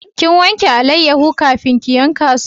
Kin wanke alayyahu kafin ki yanka su?